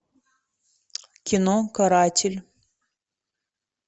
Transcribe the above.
кино каратель